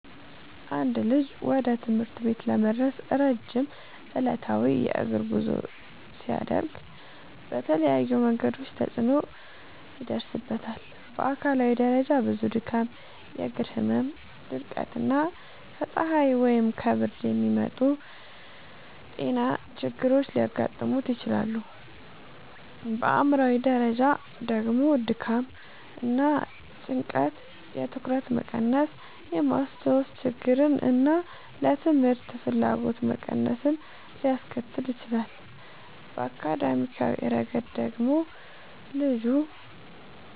አንድ ልጅ ወደ ትምህርት ቤት ለመድረስ ረጅም ዕለታዊ የእግር ጉዞ ሲያደርግ በተለያዩ መንገዶች ተጽዕኖ ይደርስበታል። በአካላዊ ደረጃ ብዙ ድካም፣ የእግር ህመም፣ ድርቀት እና ከፀሐይ ወይም ከብርድ የሚመጡ ጤና ችግሮች ሊያጋጥሙት ይችላሉ። በአእምሯዊ ደረጃ ደግሞ ድካም እና ጭንቀት የትኩረት መቀነስን፣ የማስታወስ ችግርን እና ለትምህርት ፍላጎት መቀነስን ሊያስከትል ይችላል። በአካዳሚያዊ ረገድ ደግሞ ልጁ